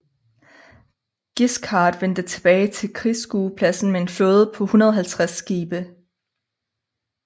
Guiscard vendte tilbage til krigsskuepladsen med en flåde på 150 skibe